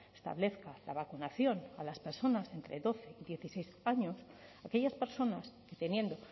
establezca la vacunación a las personas de entre doce dieciséis años aquellas personas que teniendo